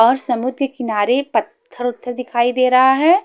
और समुद्र के किनारे पत्थर उथर दिखाई दे रहा है।